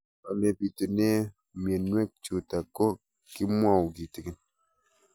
Ole pitune mionwek chutok ko kimwau kitig'�n